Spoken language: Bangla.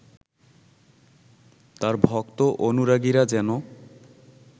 তার ভক্ত অনুরাগীরা যেন